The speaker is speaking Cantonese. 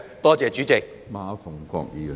多謝主席。